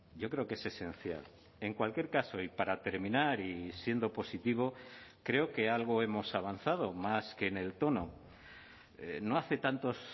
yo creo que es esencial en cualquier caso y para terminar y siendo positivo creo que algo hemos avanzado más que en el tono no hace tantos